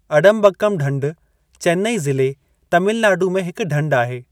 अडंबक्कम ढंढ चेन्नई ज़िले, तमिलनाडू में हिक ढंढ आहे।